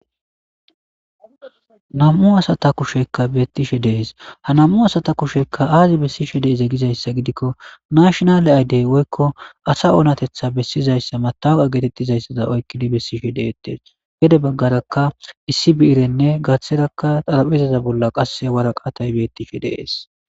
nam'u asata kusheykka beettishe de'es ha nam'u asata kushekka aazi bessishe deeze gizayssa gidikko nashonale aydey woykko asa oonatetha bessizayssa mataa getettizayssada oykkidi bessishe deettees gede baggarakka issi biirenne gatherakka xarapezaza bolla qasse wara qatay beettishe dees